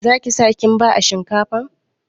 Za ki sa kimba a shinkafar?